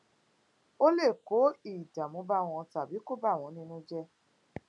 ó lè kó ìdààmú bá wọn tàbí kó bà wón nínú jẹ